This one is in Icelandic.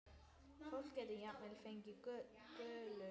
Fólk getur jafnvel fengið gulu.